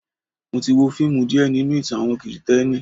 Mo ti wo fíìmù díè nínú ìtàn àwọn Kristẹni.